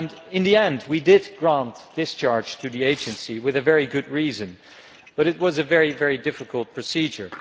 In the end we did grant discharge to the Agency with very good reasons but it was a very difficult procedure.